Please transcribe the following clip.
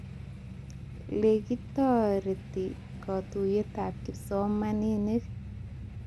Lekitoretoy katuyetab kipsomaning